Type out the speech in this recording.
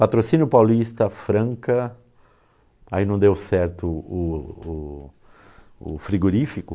Patrocínio Paulista, Franca, aí não deu certo o o o frigorífico,